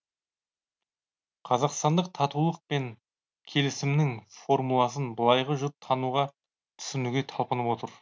қазақстандық татулық пен келісімнің формуласын былайғы жұрт тануға түсінуге талпынып отыр